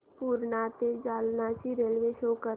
पूर्णा ते जालना ची railway show कर